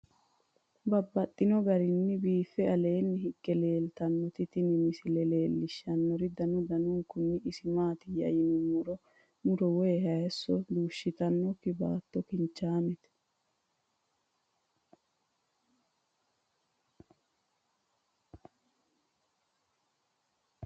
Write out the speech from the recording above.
Babaxxittinno garinni biiffe aleenni hige leelittannotti tinni misile lelishshanori danu danunkunni isi maattiya yinummoro muro woy hayiisso dushittannokki baatto kinchaamette